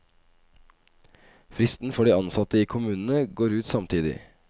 Fristen for de ansatte i kommunene går ut samtidig.